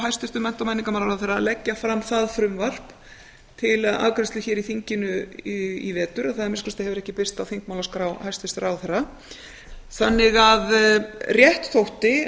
hæstvirtum mennta og menningarmálaráðherra að leggja fram það frumvarp til afgreiðslu hér í þinginu í vetur það að minnsta kosti hefur ekki birst á þingmálaskrá ráðherra þannig að rétt þótti